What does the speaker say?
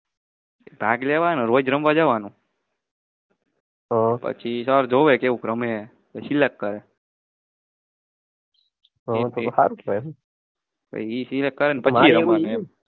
ભાગ લેવાનો